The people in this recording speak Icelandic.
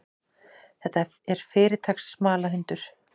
Þetta er fyrirtaks smalahundur.